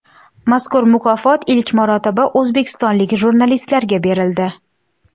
Mazkur mukofot ilk marotaba o‘zbekistonlik jurnalistlarga berildi.